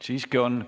Siiski on.